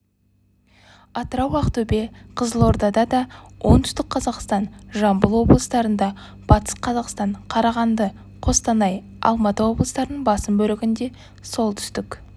атырау ақтөбе қызылордада оңтүстік қазақстан жамбыл облыстарында батыс қазақстан қарағанды қостанай алматы облыстарының басым бөлігінде солтүстік